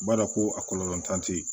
B'a dɔn ko a kɔlɔlɔ t'an tɛ ye